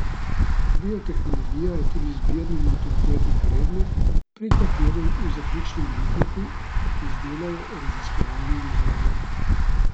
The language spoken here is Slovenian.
Biotehnologija je tudi izbirni maturitetni predmet, pri katerem v zaključnem letniku izdelajo raziskovalno nalogo.